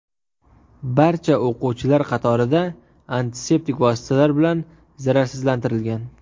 Barcha o‘quvchilar qatorida antiseptik vositalar bilan zararsizlantirilgan.